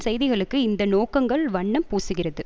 செய்திகளுக்கு இந்த நோக்கங்கள் வண்ணம் பூசுகிறது